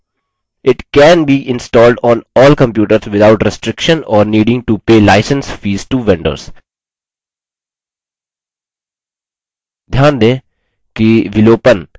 it can be installed on all computers without restriction or needing to pay license fees to vendors